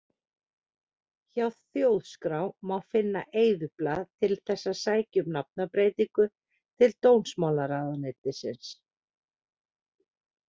Hjá Þjóðskrá má fá eyðublað til þess að sækja um nafnbreytingu til dómsmálaráðuneytisins.